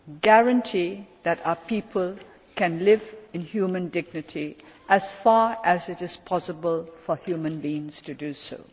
guarantee that our people can live in human dignity as far as it is possible for human beings to do